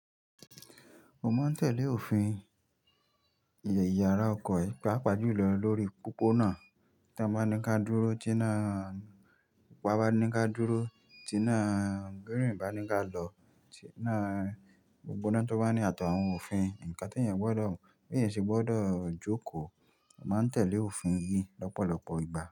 Mo máa ń tẹ́lẹ̀ òfin ìyàrá ọkọ̀. Paapaa julọ lórí pópónà tí wọ́n bá ní ká dúró, tí náà, pupa bá ní ká dúró, tí náà, green bá ní ká lọ, tí náà, gbogbo náà tó bá ní àti awon òfin, nǹkan tí èèyàn gbọ́dọ̀, bèèyàn sì gbọ́dọ̀ jókòó. Mo máa ń tẹ́lẹ̀ òfin yìí lọ́pọ̀lọpọ̀ ìgbà.